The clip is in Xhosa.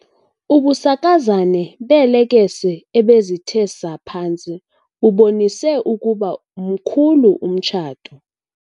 Ubusakazane beelekese ebezithe saa phantsi bubonise ukuba mkhulu umtshato.